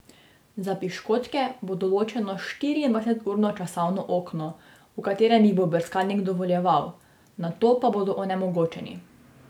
Za piškotke bo določeno štiriindvajseturno časovno okno, v katerem jih bo brskalnik dovoljeval, nato pa bodo onemogočeni.